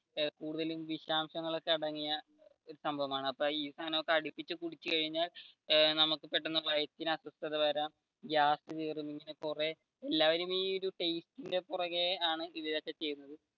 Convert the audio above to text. കൂടുതലും വിശാംശങ്ങൾ ഒക്കെ അടങ്ങിയ സംഭവമാണ് അപ്പൊ ഈ സാധനമൊക്കെ അടിപ്പിച്ചു കുടിച്ചു കഴിഞ്ഞാൽ നമുക്ക് പെട്ടെന്നു വയറ്റിനു അസ്വസ്‌ഥ വരാം ഗ്യാസ് കേറും പിന്നെ കുറെ എല്ലാരും ഈ ടേസ്റ്റിന്റെ പുറകെയാണ് ആണ് ഇതൊക്കെ ചെയ്യുന്നത്.